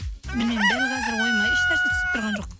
білмеймін дәл қазір ойыма ешнәрсе түсіп тұрған жоқ